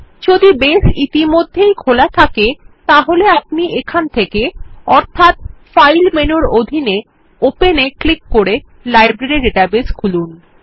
যদি বেস ইতিমধ্যেই খোলা থাকে তাহলে আপনি এখান থেকে অর্থাৎ ফাইল মেনুর অধীনে ওপেন এ ক্লিক করে লাইব্রেরী ডেটাবেস খুলুন